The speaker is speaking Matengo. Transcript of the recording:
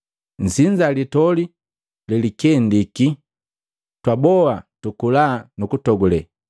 Nsinza Litoli lelikendiki. Twaboa tukula nu kutogule!